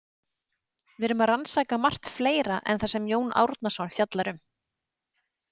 Við erum að rannsaka margt fleira en það sem Jón Árnason fjallar um.